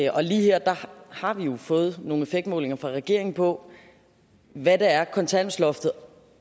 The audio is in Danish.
og lige her har vi jo fået nogle effektmålinger fra regeringen på hvad det er kontanthjælpsloftet